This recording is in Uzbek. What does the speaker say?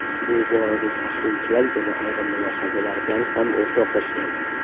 Bu borada tahlilchilar yana ayrim mulohazalar bilan ham o‘rtoqlashgan.